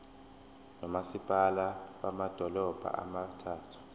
nomasipala bamadolobha abathathu